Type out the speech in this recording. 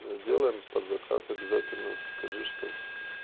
делаем под заказ обязательно скажи что